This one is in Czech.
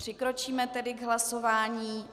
Přikročíme tedy k hlasování...